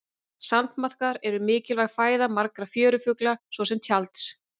sandmaðkar eru mikilvæg fæða margra fjörufugla svo sem tjalds